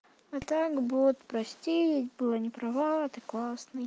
а так бот прости была не права ты классный